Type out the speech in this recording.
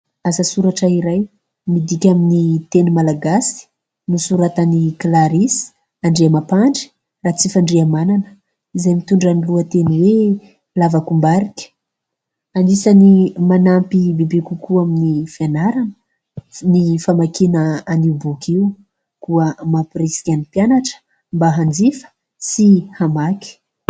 Asa soratra iray,"midika amin'ny teny malagasy nosoratan'i "Clarisse" Andriamampandry Ratsifandrihamanana, izay mitondra ny lohateny hoe "lavakombarika". Anisan'ny manampy bebe kokoa amin'ny fianarana ny famakiana an'io boky io. Koa mampirisika ny mpianatra mba hanjifa sy hamaky.